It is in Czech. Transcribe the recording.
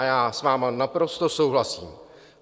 A já s vámi naprosto souhlasím.